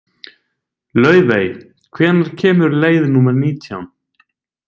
Laufey, hvenær kemur leið númer nítján?